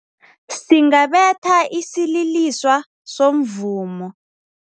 Singabetha isililiswa somvumo.